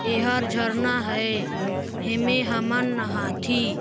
एहर झरना है हेमे हमन नहाथी--